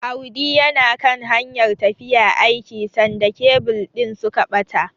Audi yana kan hanyar tafiya aiki sanda kebil din suka bata.